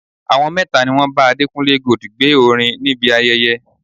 Àwọn mẹ́ta ni wọn bá Adékúnlé Gold gbé orin níbi ayẹyẹ.